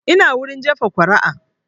Ina wurin jefa kuri'a